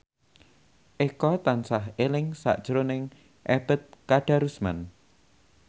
Eko tansah eling sakjroning Ebet Kadarusman